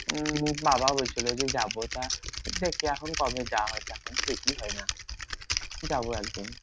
উম বাবাও বলছিলো যে যাবো তা দেখি এখন কবে যাওয়া যায় এখন ঠিকই হয় না যাবো একদিন।